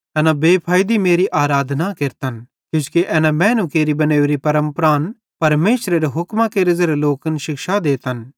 एना बेफाइदी मेरी आराधना पूजा केरतन किजोकि एना त मैनू केरि बनोरी परमपरान परमेशरेरे हुक्मां केरे ज़ेरे लोकन शिक्षा देतन